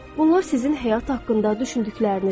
Bunlar sizin həyat haqqında düşündüklərinizdir.